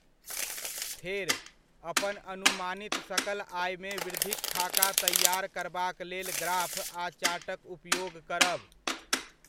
फेर, अपन अनुमानित सकल आयमे वृद्धिक खाका तैआर करबाक लेल ग्राफ आ चार्टक उपयोग करब।